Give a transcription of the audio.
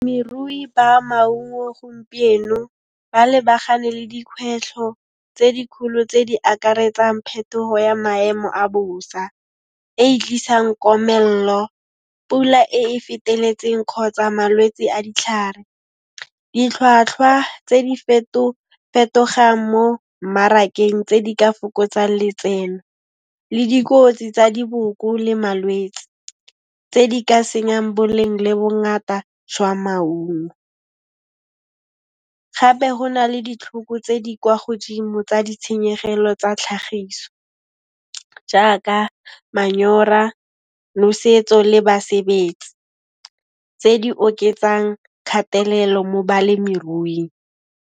Ba maungo gompieno ba lebagane le dikhwetlho tse dikholo tse di akaretsang phetoho ya maemo a bosa, e e tlisang komello, pula e e feteletseng kgotsa malwetse a ditlhare, ditlhwatlhwa tse di fetogang mo mmarakeng tse di ka fokotsa letseno le dikotsi tsa diboko le malwetsi, tse di ka senyang boleng le bongata jwa maungo. Gape ho na le ditlhoko tse di kwa godimo tsa ditshenyegelo tsa tlhagiso jaaka manyora, nosetso le basebetsi, tse di oketsang kgatelelo mo balemiruing.